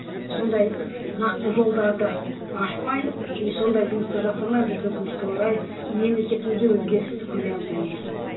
сондай нақты жолдарды ашпай и сондай жұмысты жасамай біз өкінішке орай мемлекетімізде өзгерісті көре алмаймыз